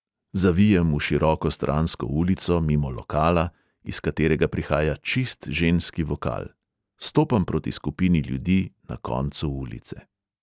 Zavijem v široko stransko ulico, mimo lokala, iz katerega prihaja čist ženski vokal, stopam proti skupini ljudi na koncu ulice.